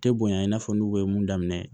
Tɛ bonya i n'a fɔ n'u ye mun daminɛ